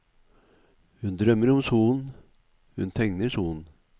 Hun drømmer om solen, hun tegner solen.